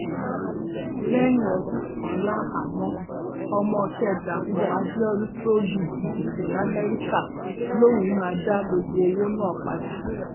lẹyìn ọdún kan láhàámọ ọmọọṣẹ dàpọ abiodun tó lu jìbìtì lamẹríkà lòún máa dá gbogbo owó náà padà